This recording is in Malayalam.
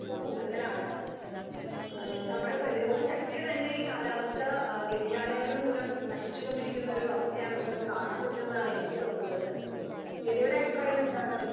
സ്പീക്കർ 2 ഇപ്പൊ കൂടുതൽ ആണ്. നമ്മുടെ പ്രീതിരോധ ശക്തിയെ തന്നെ ഈ കാലാവസ്ഥ വ്യെധിയാനങ്ങൾ മൂലം നശിച്ച് കൊണ്ടിരിക്കുന്ന അവസ്ഥയാണ് നമുക്ക് കാണാൻ പറ്റുന്നതാണ് എനിക്ക് ഇപ്പൊ തോന്നുന്നത്. മേത യുടെ അഭിപ്രായം എന്താണ് ഇതിൽ?